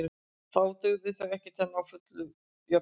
Þá dugðu þau ekki til að ná fullri jöfnun.